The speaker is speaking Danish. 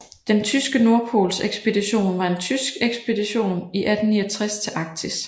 Den tyske nordpolsekspedition var en tysk ekspedition i 1869 til Arktis